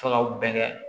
Fɛɛrɛw bɛɛ kɛ